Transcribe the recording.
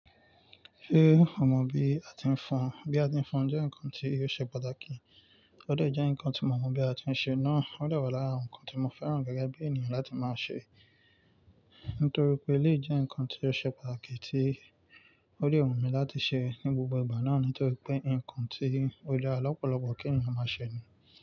Ṣé o mọ bí a ti ń fọn? Bí a ti ń fọn jẹ́ nǹkan tí ò ṣe pàtàkì, ó de jẹ́ nǹkan tí mo mọ̀ bí a ti ń ṣe náà. Ó de wa lára nǹkan tí mo fẹ́ràn gẹ́gẹ́ bí ènìyàn láti máa ṣe. Nítorí pé lè jẹ́ nǹkan tí yóò ṣe pàtàkì tí ó lè wù mí láti ṣe ní gbogbo ìgbà náà nítorí pé nǹkan tí ó dara lọ́pọ̀lọpọ̀ kí ènìyàn máa ṣe ni.